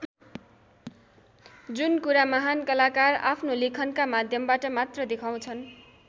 जुन कुरा महान् कलाकार आफ्नो लेखनका माध्यमबाट मात्र देखाउँछन् ।